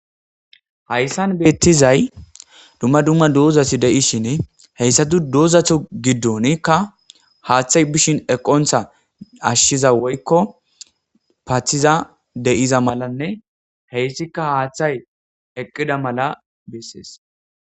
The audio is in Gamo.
Haatsan beetizay dumma dumma dizati dishn haysatu dizatu gidonika haathey be'ishn eqonta ashiza woykon pathiza de'iza malanne haathayeqid mala beses